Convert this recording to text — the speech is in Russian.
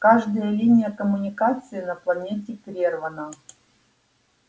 каждая линия коммуникации на планете прервана